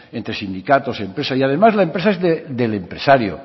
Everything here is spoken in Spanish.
entre sindicatos empresa y además la empresa es del empresario